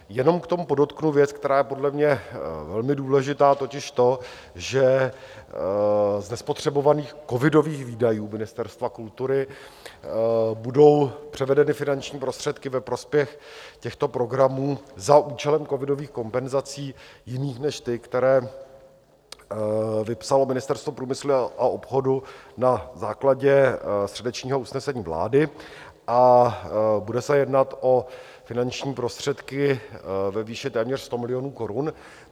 Jenom k tomu podotknu věc, která je podle mě velmi důležitá, totiž to, že z nespotřebovaných covidových výdajů Ministerstva kultury budou převedeny finanční prostředky ve prospěch těchto programů za účelem covidových kompenzací jiných než ty, které vypsalo Ministerstvo průmyslu a obchodu na základě středečního usnesení vlády, a bude se jednat o finanční prostředky ve výši téměř 100 milionů korun.